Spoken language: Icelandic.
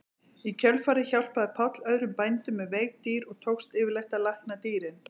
Í kjölfarið hjálpaði Páll öðrum bændum með veik dýr og tókst yfirleitt að lækna dýrin.